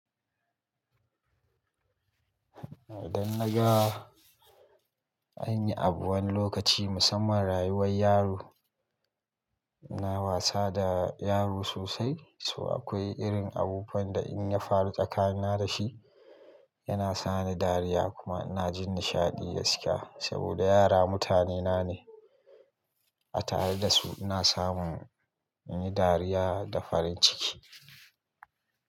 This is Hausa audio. Idan na ga an yi abu wani lokaci musamman rayuwar yaro, na wasa da yaro sosai. So akwai irin abubuwan da in ya faru tsakani na da shi, yana sani dariya kuma ina jin nishaɗi gaskiya. Saboda yara mutanena ne, a tare da su ina samun in yi dariya da farin ciki.